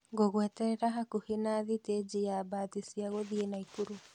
Ngũgweterera hakuhe na sitĩji ya bathi cia gũthii Naikuru